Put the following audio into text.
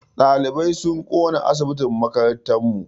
Ɗalibai sun ƙona asibitin makarantar mu.